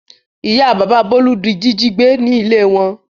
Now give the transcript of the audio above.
Ìyá bàbá Bólú di jíjí gbé ní ilé wọn.